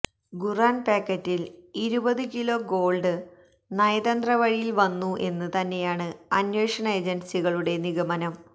ഖുറാൻ പാക്കറ്റിൽ ഇരുപത് kilo gold നയതന്ത്ര വഴിയിൽ വന്നു എന്ന് തന്നെയാണ് അന്വേഷണ ഏജൻസികളുടെ നിഗമനം